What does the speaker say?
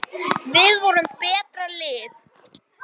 heyrir hann síðan kallað.